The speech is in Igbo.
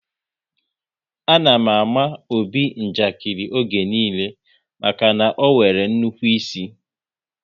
A na àmà Obi njakiri oge niile maka na ọ nwere nnukwu ịsị